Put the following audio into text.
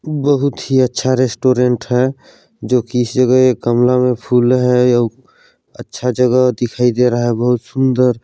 बहुत ही अच्छा रेस्टोरेंट है जो की इस जगह कमला में फूल है बहुत ही अच्छा जगह दिखाई दे रहा है बहुत सुंदर--